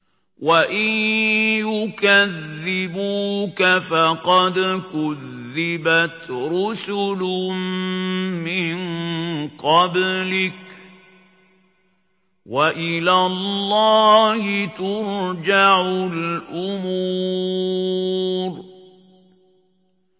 وَإِن يُكَذِّبُوكَ فَقَدْ كُذِّبَتْ رُسُلٌ مِّن قَبْلِكَ ۚ وَإِلَى اللَّهِ تُرْجَعُ الْأُمُورُ